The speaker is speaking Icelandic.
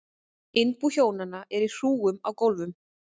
Innbú hjónanna er í hrúgum á gólfum.